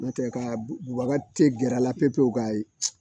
N'o tɛ ka bubakati gɛrɛ a la pewu pewu ka